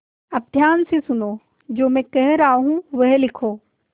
अब ध्यान से सुनो जो मैं कह रहा हूँ वह लिखो